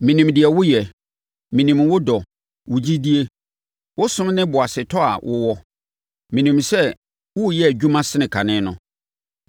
Menim deɛ woyɛ. Menim wo dɔ, wo gyidie, wo som ne boasetɔ a wowɔ. Menim sɛ woreyɛ adwuma sene kane no.